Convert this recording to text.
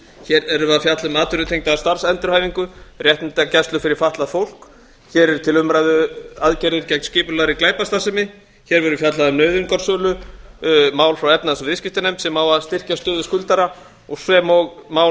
hér eru við að fjalla um atvinnutengda starfsendurhæfingu réttindagæslu fyrir fatlað fólk hér eru til umræðu aðgerðir gegn skipulagðri glæpastarfsemi hér verður fjallað um nauðungarsölu mál frá efnahags og viðskiptanefnd sem á að styrkja stöðu skuldara sem og mál